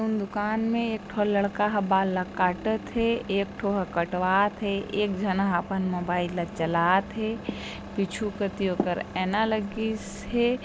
दुकान मे एक ठो लड़का ह बाल ल काटत थे एक ठो ह कटवाथे एक झन ह अपन मोबाईल ला चलाथे पीछू कति ओकर एना लगिस हे।